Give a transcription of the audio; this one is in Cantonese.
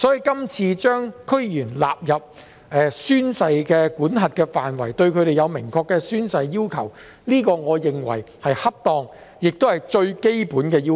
因此，這次將區議員納入宣誓的管轄範圍，並對他們訂立明確的宣誓要求，我認為是恰當和最基本的要求。